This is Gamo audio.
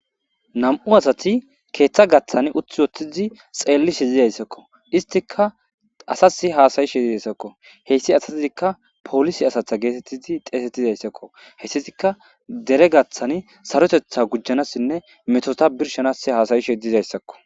Nam''u asatti keththa giddon uttiddi xeelishe dizaysakko istikka asasi hasayshe dizayssakko heyssi asazikka polise asaza geetetizi xeesetizayssakko hayssatikka dere gaaththan sarotetha gujanasinne metota birshanasi haasayishe dizayssakko